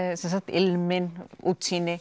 ilminn útsýni